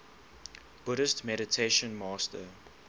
buddhist meditation master